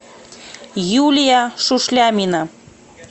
юлия шушлямина